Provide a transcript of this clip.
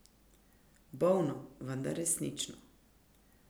Bolno, vendar resnično.